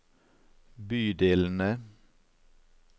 bydelene